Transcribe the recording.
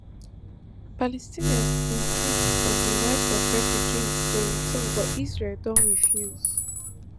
palestinians insist on di right of refugees to return but israel don refuse